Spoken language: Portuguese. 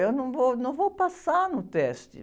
Eu não vou, não vou passar no teste.